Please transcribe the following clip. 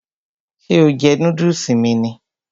Ṣé o jẹ núdùsì mi ni?